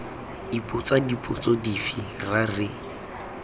ipotsa dipotso dife ra re